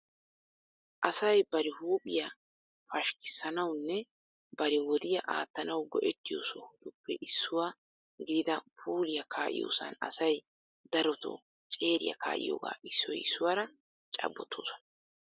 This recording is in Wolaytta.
Asay bari huuphphiya pashkkissanawunne bari wodiyaa aattanaw go"ettiyo sohotuppe issuwa gidida puuliya ka'iyoosan asay darotoo ceeriya kaa'iyooga issoy issuwaara cabbotoosona.